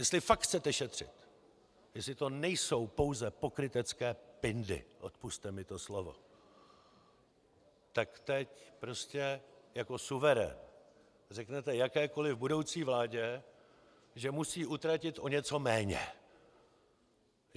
Jestli fakt chcete šetřit, jestli to nejsou pouze pokrytecké pindy, odpusťte mi to slovo, tak teď prostě jako suverén řeknete jakékoli budoucí vládě, že musí utratit o něco méně.